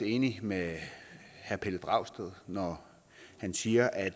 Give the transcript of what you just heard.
enig med herre pelle dragsted når han siger at